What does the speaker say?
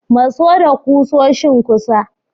Maso da kusoshin kusa.